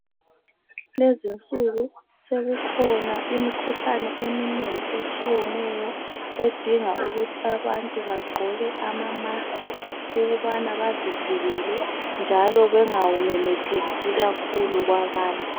Lezinsuku sekukhona imikhuhlane eminengi etshiyeneyo edinga ukuthi abantu bagqoke ama mask ukubana bazivikele njalo bengawumemethekisi kakhulu kwabanye.